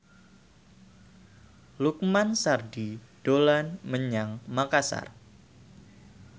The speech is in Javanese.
Lukman Sardi dolan menyang Makasar